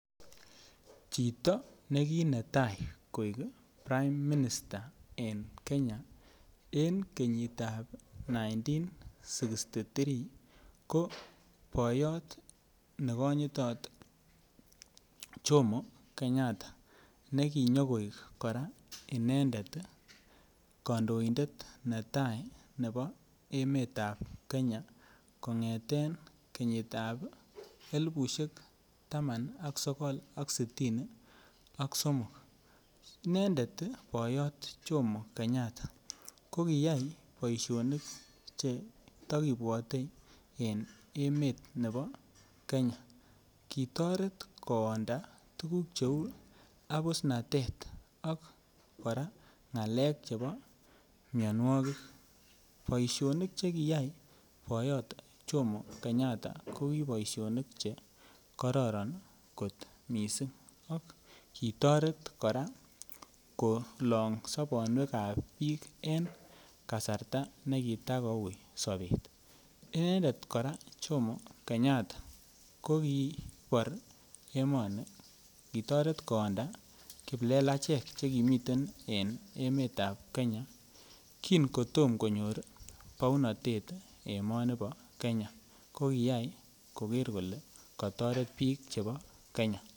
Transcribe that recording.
Chito ne kii netai koik prime minister en kenya en kenyitab elibut akenge bogol sogol ak sitin ak somok ko boyot nekonyitot Jomo kenyatta nekinyoik kora inendet kandoindetab netai ne bo emetab kenya kong'eten kenyitab elibut akenge bogol sogol ak sitin ak somok inendet boyot Jomo kenyatta kokiyai boisionik chetokibwote en emet ne bo kenya kitoret koonda tukuk cheu abusnatet ak kora ng'alek chepo mianwokik boisionik chekiyai boyot Jomo kenyatta ko kiboisionik chekororon kot missing ak kitoret kora kolong sobonwekab biik en kasarta nekitakoui sobet inendet kora Jomo kenyatta kokii bor emoni kitoret koonda kiplelachek chekimiten en emetab kenya kingo tom konyor bounotet emoni bo kenya kokiyai koker kole kotoret biik chebo kenya.